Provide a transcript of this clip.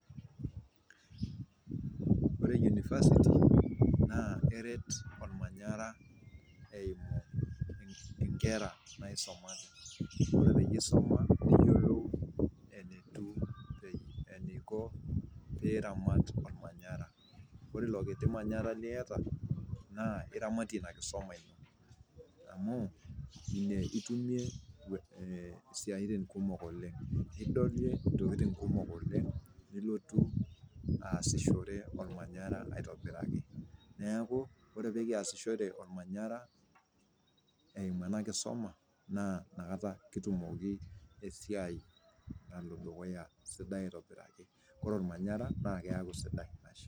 Ore univasiti naa eret olmanyara eimu inkera naisumate, iyolo ajo eisuma neyiolou enetiu, eneiko piiramat ilmanyara, ore ilo kiti manyara lieta naa iramatie ina kisoma ino amuu inie itumie siatin kumok oleng, idolie intokitin kumok oleng nilotu aasisoshore olmanyara aitobiraki, naaku ore pekiasishore olmanyara eimu ena kisoma naa inakata kitumoki esiai nalo dukuya sidai aitobiraki, kore ilmanyara naa keaku sidai ashe.